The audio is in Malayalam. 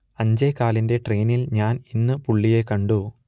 അഞ്ചേകാലിന്റെ ട്രെയിനിൽ ഞാൻ ഇന്ന് പുള്ളിയെ കണ്ടു